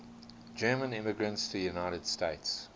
german immigrants to the united states